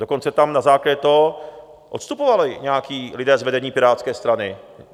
Dokonce tam na základě toho odstupovali nějací lidé z vedení Pirátské strany.